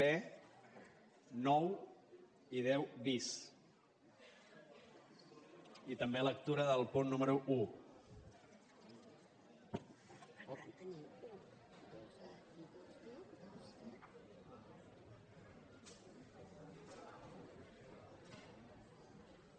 b nou i deu bis i també lectura del punt número un